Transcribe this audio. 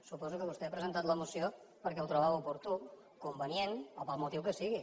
suposo que vostè ha presentat la moció perquè ho trobava oportú convenient o pel motiu que sigui